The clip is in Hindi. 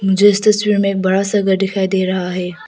मुझे इस तस्वीर में बड़ा सा घर दिखाई दे रहा है।